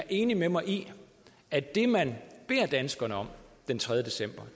enig med mig i at det man beder danskerne om den tredje december